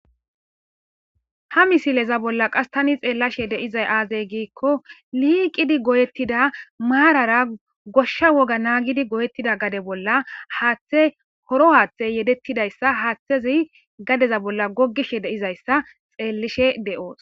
ha misileza bolla qas tani xeellishe deizay aazey giikko liiqidi goyettida maarara goshsha woga naagidi goyettida gade bolla haaththe horo haaththey yedettidayssa haaththezi gadeza bolla gogishe de7izayssa xeellishe de7oos